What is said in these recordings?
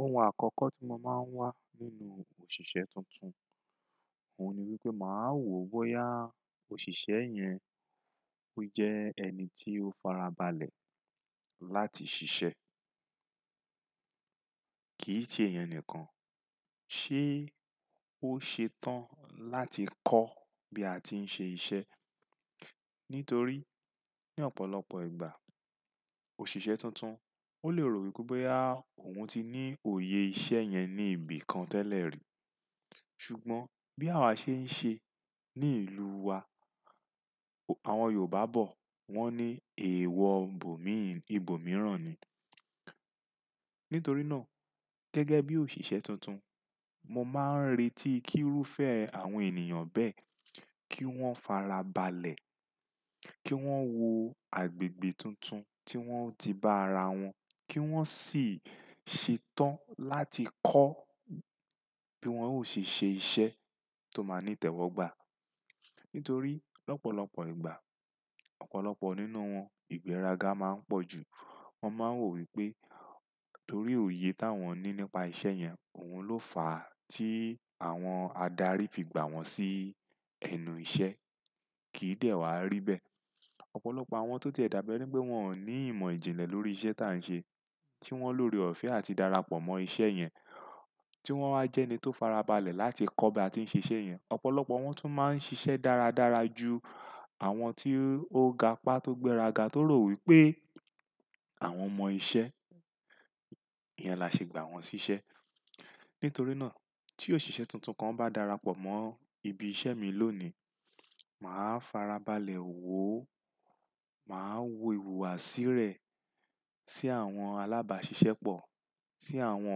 Ohun àkọ́kọ́ tí mo máa ń wá nínú òṣìṣẹ́ tuntun, òun ni wípé màá wò ó bóyá òṣìṣẹ́ yẹn ó jẹ́ ẹni tí ó farabalẹ̀ láti ṣiṣẹ́. Kì í ṣe ìyẹn nìkan, ṣé ó ṣetán láti kọ́ bí a ti ń ṣe iṣẹ́? Nítorí ní ọ̀pọ̀lọpọ̀ ìgbà, òṣìṣẹ́ tuntun ó lè rò wípé bóyá, òun ti ní òye iṣẹ́ yẹn ní ibi kan tẹ́lẹ̀ rí. Ṣùgbọ́n bí àwa ṣe ń ṣe ní ìlú wa, àwọn Yorùbá bọ̀ wọ́n ní "Èèwọ̀ bòmíín, ibòmíràn ni." Nítorí náà gẹ́gẹ́ bí òṣìṣẹ́ tuntun, mo máa ń retí kírúfẹ́ àwọn ènìyàn bẹ́ẹ̀ kí wọ́n farabalẹ̀, kí wọ́n wo agbègbè tuntun tí wọ́n ti bá ara wọn, kí wọ́n sì ṣetán láti kọ́ bí wọ́n ó ṣe ṣe iṣẹ́ tó máa ní tẹ̀wọ́gbà. Nítorí lọ́pọ̀lọpọ̀ ìgbà, ọ̀pọ̀lọpọ̀ nínú wọn ìgbéraga máa ń pọ̀jù. Wọ́n máa ń rò wípé torí òye táwọn ní nípa iṣẹ́ yẹn, òun ló fà á tí àwọn adarí fi gbà wọ́n sí ẹnu iṣẹ́. Kì í dẹ̀ wá rí bẹ́ẹ̀. Ọ̀pọ̀lọpọ̀ àwọn tó ti ẹ̀ dábí ẹ́nipé wọ́n ò ní ìmọ̀ ìjìnlẹ̀ lórí iṣẹ́ táa ń ṣe, tí wọ́n lórí ọ̀fẹ́ àti darapọ̀ mọ́ iṣẹ́ yẹn, tí wọ́n wá jẹ́ ẹni tó farabalẹ̀ láti kọ́ bí a ti ń ṣe iṣẹ́ yẹn. Ọ̀pọ̀lọpọ̀ wọ́n tún máa ń ṣiṣẹ́ dáradára ju àwọn tí ó ga pá tó gbéraga tó rò wípé àwọn mọ iṣẹ́, ìyẹn la ṣe gbà wọ́n sí iṣẹ́. Nítorí náà tí òṣìṣẹ́ tuntun kan bá darapọ̀ mọ́ ibi iṣẹ́ mi lónìí, màá farabalẹ̀ wò ó, màá wo ìhùwàsí rẹ̀ sí àwọn alábàáṣiṣẹ́pọ̀, sí àwọn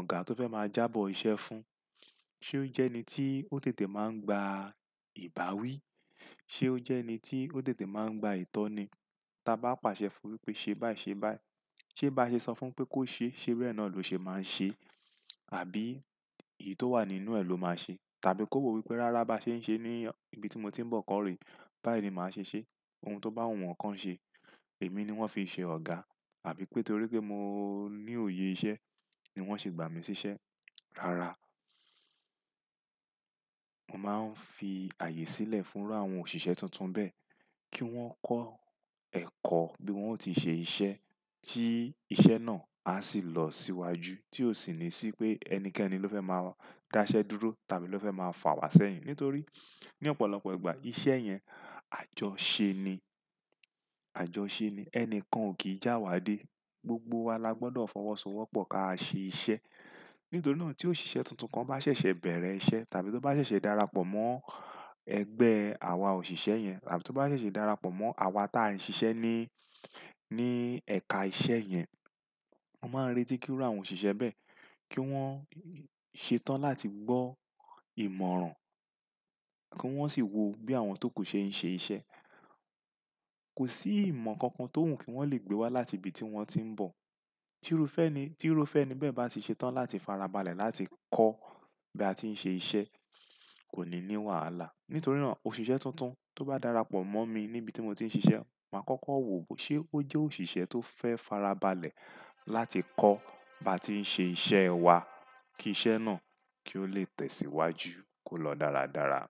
ọ̀gá tó fẹ́ máa jábọ̀ iṣẹ́ fún. Ṣé ó jẹ́ ẹni tí ó tètè máa ń gba ìbáwí? Ṣé ó jẹ́ ẹni tí ó tètè máa ń gba ìtọ́ni? Tà bá pàṣẹ fún un wípé ṣe báyìí ṣe báyìí, ṣé bá ṣe sọ fún pé kó ṣe, ṣé bẹ́ẹ̀ náà ló ṣe máa ń ṣe? Àbí èyí tó wà nínú ẹ̀ ló máa ṣe? Tàbí kó wò wípé rárá bá ṣe ń ṣe ní ibi tí mo ti ń bọ̀ kọ́ rèé, báyìí ni màá ṣe ṣe. Ohun tó bá wù wọn kan ṣe, èmi ni wọ́n fi ṣe ọ̀gá àbí pé torí pé mo ní òye iṣẹ́ ni wọ́n ṣe gbà mi sí iṣẹ́. Rárá, mo máa ń fi ààyè sílẹ̀ fún'rú àwọn òṣìṣẹ́ tuntun bẹ́ẹ̀ kí wọ́n kọ́ ẹ̀kọ́ bí wọ́n ó ti ṣe iṣẹ́ tí iṣẹ́ náà a sì lọ síwájú tí ò sì ní sí pé ẹnikẹ́ni ló fẹ́ máa dá iṣẹ́ dúró tàbí ló fẹ́ máa fà wá sẹ́yìn. Nítorí ní ọ̀pọ̀lọpọ̀ ìgbà iṣẹ́ yẹn àjọ ṣe ni, àjọ ṣe ni, ẹni kan ò kì í jẹ́'áwá dé. Gbogbo wa la gbọdọ̀ fọwọ́sowọ́pọ̀ ká ṣe iṣẹ́. Nítorí náà tí òṣìṣẹ́ tuntun kan bá ṣẹ̀ṣẹ̀ bẹ̀rẹ̀ iṣẹ́ tàbí tó bá ṣẹ̀ṣẹ̀ darapọ̀ mọ́ ẹgbẹ́ àwa òṣìṣẹ́ yẹn tàbí tó bá ṣẹ̀ṣẹ̀ darapọ̀ mọ́ àwa tí à ń ṣiṣẹ́ ní, ní ẹ̀ka iṣẹ́ yẹn, mo máa ń retí kírú àwọn òṣìṣẹ́ bẹ́ẹ̀ kí wọ́n ṣetán láti gbọ́ ìmọ̀ràn kí wọ́n sì wo bí àwọn tó kù ṣe ń ṣe iṣẹ́. Kò sí ìmọ̀ kankan tó wù kí wọ́n lè gbé wá láti ibi tí wọ́n ti ń bọ̀. Tí irúfẹ́ ni, tí irúfẹ́ ni bẹ́ẹ̀ bá ti ṣetán láti farabalẹ̀ láti kọ́ bí a ti ń ṣe iṣẹ́, kò ní ní wàhálà. Nítorí náà òṣìṣẹ́ tuntun tó bá darapọ̀ mọ́ mi níbi tí mo ti ń ṣiṣẹ́, màá kọ́kọ́ wò ó bó ṣe ó jẹ́ òṣìṣẹ́ tó fẹ́ farabalẹ̀ láti kọ́ bá tí ń ṣe iṣẹ́ wa kí iṣẹ́ náà kí ó lè tẹ̀síwájú kó lọ dáradára.